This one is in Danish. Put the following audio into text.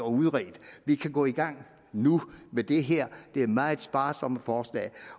udredt vi kan gå i gang nu med det her meget sparsomme forslag